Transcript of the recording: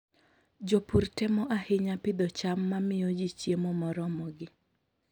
Jopur temo ahinya pidho cham mamiyo ji chiemo moromogi.